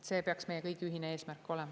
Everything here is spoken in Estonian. See peaks meie kõigi ühine eesmärk olema.